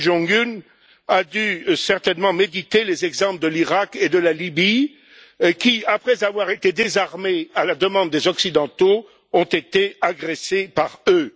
Kim Jong un a dû certainement méditer les exemples de l'Iraq et de la Libye qui, après avoir été désarmés à la demande des occidentaux, ont été agressés par eux.